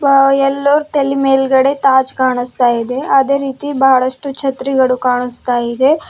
ಆ ಎಲ್ಲರ್ ತಲೆ ಮೇಲ್ಗಡೆ ತಾಜ್ ಕಾಣಿಸ್ತಾ ಇದೆ ಅದೇ ರೀತಿ ಬಹಳಷ್ಟು ಛತ್ರಿಗಳು ಕಾಣಿಸ್ತಾ ಇದೆ.